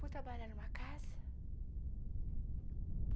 Fui trabalhar em uma casa.